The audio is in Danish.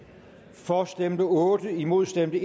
for stemte otte imod stemte